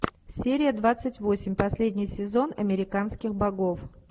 серия двадцать восемь последний сезон американских богов